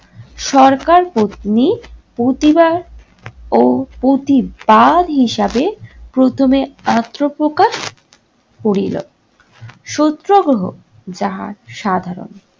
সরকারপত্নী প্রতিবার ও প্রতিবার হিসাবে প্রথমে আত্নপ্রকাশ করিল। সত্যগ্রহ যাহা সাধারণ